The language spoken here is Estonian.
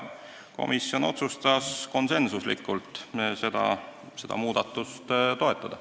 Komisjon otsustas seda muudatust konsensuslikult toetada.